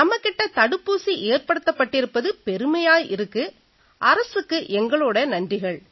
நம்மகிட்ட தடுப்பூசி ஏற்படுத்தப்பட்டிருப்பது பெருமையா இருக்கு அரசுக்கு எங்களோட நன்றிகள்